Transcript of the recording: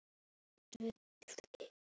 Góð bók geymir galdra.